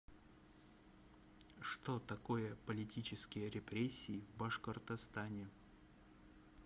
что такое политические репрессии в башкортостане